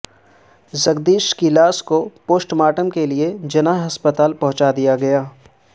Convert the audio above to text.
جگدیش کی لاش کو پوسٹ مارٹم کے لئے جناح ہسپتال پہنچایا دیا گیا